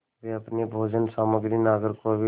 वे अपनी भोजन सामग्री नागरकोविल